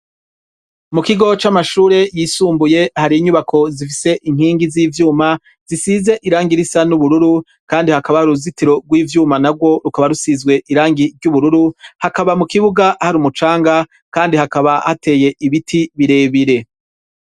Mu kigo c'amashure yisumbuye hari inyubako zifise inkingi z'ivyuma zisize irangi risa n'ubururu, kandi hakaba hari uruzitiro rw'ivyuma narwo rukaba rusizwe irangi ry'ubururu, hakaba mu kibuga hari umucanga kandi hakaba hateye ibiti birebire.